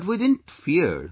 But we didn't fear